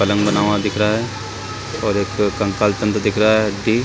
कलम बानौवा दिख रहा है और एक कंकाल टंगा दिख रहा है डी--